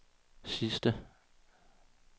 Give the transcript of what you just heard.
sidste